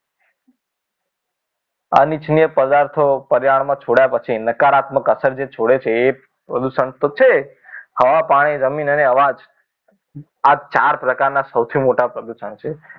અનિચ્છનીય પદાર્થો પર્યાવરણમાં છોડ્યા પછી નકારાત્મક અસર જે છોડે છે એ પ્રદૂષણ તો છે હવા પાણી જમીન અને અવાજ આ ચાર પ્રકારના સૌથી મોટા પ્રદુષણ છે